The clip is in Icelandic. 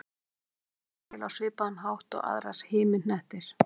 Jörðin varð til á svipaðan hátt og aðrir himinhnettir.